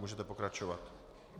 Můžete pokračovat.